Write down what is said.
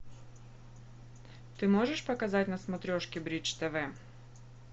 ты можешь показать на смотрешке бридж тв